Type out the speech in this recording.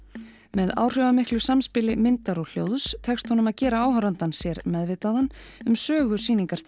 með áhrifamiklu samspili myndar og hljóðs tekst honum að gera áhorfandann sér meðvitaðan um sögu